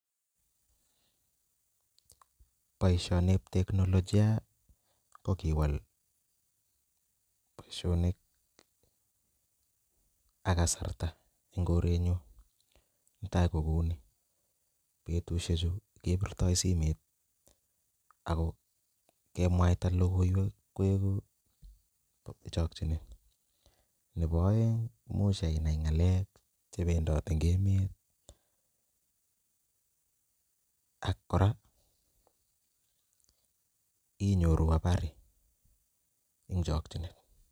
Boishoni en technologia ko kiwal booshonik ak kasarta en korenyun tai kouni, betushek chuu kebirto simeit eko kemwaita lokoiwek koikuu chokinet, nebo oeng imuch anai ngalek chependoti en emet ak Koraa inyoruu abari en chokinet .